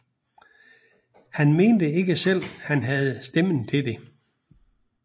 Han mente ikke selv han havde stemmen til det